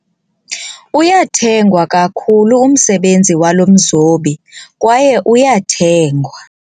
Uyathengwa kakhulu umsebenzi walo mzobi kwaye uyathengwa.